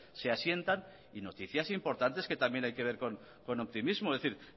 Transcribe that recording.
se asientan y noticias importantes que también hay que ver con optimismo es decir